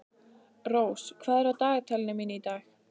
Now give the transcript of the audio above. Rós, hvað er á dagatalinu mínu í dag?